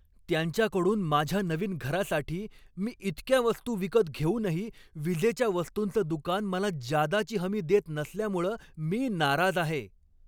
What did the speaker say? त्यांच्याकडून माझ्या नवीन घरासाठी मी इतक्या वस्तू विकत घेऊनही विजेच्या वस्तुंचं दुकान मला जादाची हमी देत नसल्यामुळं मी नाराज आहे.